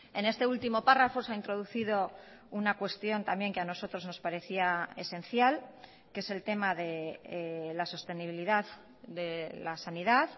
en este último párrafo se ha introducido una cuestión también que a nosotros nos parecía esencial que es el tema de la sostenibilidad de la sanidad